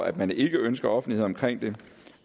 at man ikke ønsker offentlighed omkring det